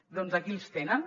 doncs aquí els tenen